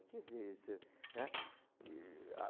O que que é isso, né? E, a